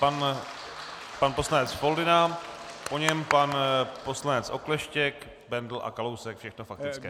Pan poslanec Foldyna, po něm pan poslanec Okleštěk, Bendl a Kalousek, všechno faktické.